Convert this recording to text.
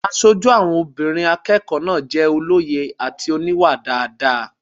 Aṣojú obìnrin àwọn akẹ́kọ̀ọ́ náà jẹ́ olóye àti oníwà dáadáa